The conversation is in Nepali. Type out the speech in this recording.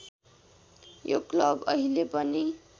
यो क्लब अहिले पनि